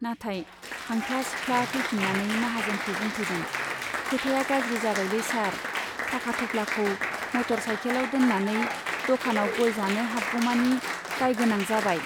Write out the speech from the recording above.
नाथाय हांफ्ला सिफ्ला फैफिन्नानै माहाजोनखौ बुंफैदों, खोथाया गाज्रि जाबायलै सार , टाका थफ्लाखौ मटर साइकेलाव दोन्नानै दकानाव गय जानो हाबगौमानि दाय गोनां जाबाय